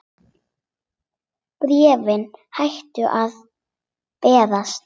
Bréfin hættu að berast.